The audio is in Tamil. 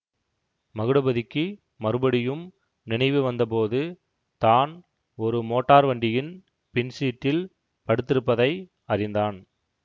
மகுடபதிக்கு மறுபடியும் நினைவு வந்தபோது தான் ஒரு மோட்டார் வண்டியின் பின் சீட்டில் படுத்திருப்பதை அறிந்தான்